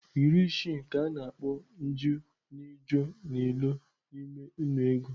Iri isii ka a na-akpọ nju nịjo nịlo n'ime nnu ego.